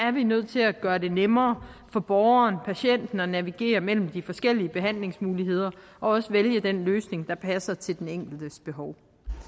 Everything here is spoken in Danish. er vi nødt til at gøre det nemmere for borgeren patienten at navigere mellem de forskellige behandlingsmuligheder og også vælge den løsning der passer til den enkeltes behov